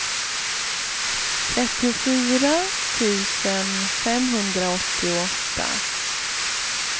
trettiofyra tusen femhundraåttioåtta